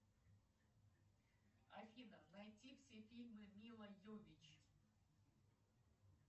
афина найти все фильмы мила йовович